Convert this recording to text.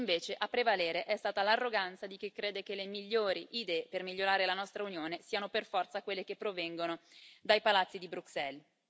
E invece a prevalere è stata l'arroganza di chi crede che le migliori idee per migliorare la nostra Unione siano per forza quelle che provengono dai palazzi di Bruxelles.